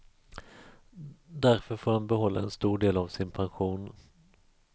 Därför får han behålla en stor del av sin pension.